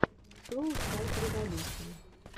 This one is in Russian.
шоу файтреволюшн